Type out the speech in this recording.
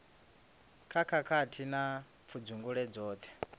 kha khakhathi na pfudzungule dzoṱhe